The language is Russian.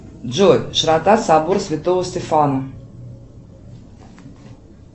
джой широта собора святого стефана